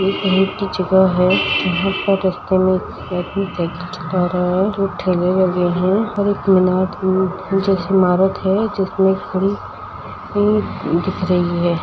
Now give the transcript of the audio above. Road की जगह है जहाँ पर रस्ते में एक आदमी साइकिल चला रहा है। दो ठेले लगे हैं और एक मीनार के जैसी इमारत है जिसमें घड़ी दिख रही है।